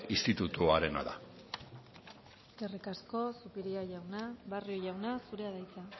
institutuarena da eskerrik asko zupiria jauna barrio jauna zurea da hitza